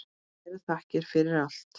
Kærar þakkir fyrir allt.